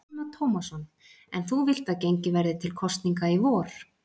Telma Tómasson: En þú vilt að gengið verði til kosninga í vor?